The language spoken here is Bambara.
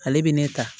Ale bɛ ne ta